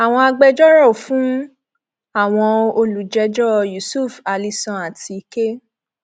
àwọn agbẹjọrò fún àwọn olùjẹjọ yusuf ali sàn àti k